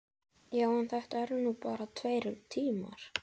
Já, en þetta eru nú bara tveir tímar.